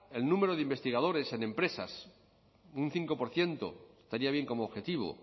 el número de investigadores en empresas un cinco por ciento estaría bien como objetivo